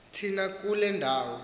thina kule ndawo